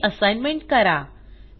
ही assignment करा